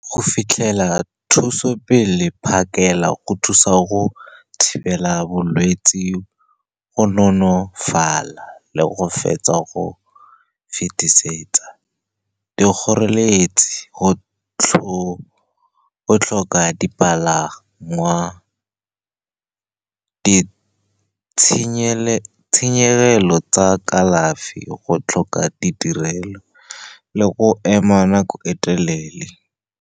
Go fitlhela thuso pele phakela go thusa go thibela bolwetsi, go nonofala le go fetsa go fetisetsa dikgoreletsi. Go tlhoka dipalangwa, ditshenyegelo tsa kalafi, go tlhoka ditirelo le go ema nako e telele.